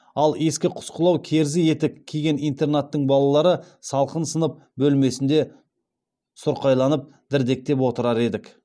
ал ескі құсқылау керзі етік киген интернаттың балалары салқын сынып бөлмесінде сұрқайланып дірдектеп отырар едік